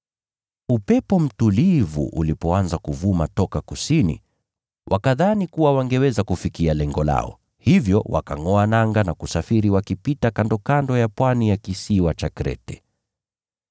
Upepo mtulivu ulipoanza kuvuma toka kusini, wakadhani kuwa wangeweza kufikia lengo lao, hivyo wakangʼoa nanga na kusafiri wakipita kandokando ya pwani ya kisiwa cha Krete.